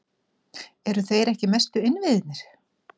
Eru þeir ekki mestu innviðirnir?